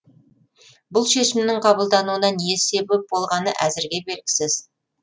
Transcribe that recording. бұл шешімнің қабылдануына не себеп болғаны әзірге белгісіз